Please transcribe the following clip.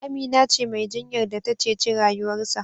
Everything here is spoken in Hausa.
Amina ce Mai jinyar da ta ceci rayuwarsa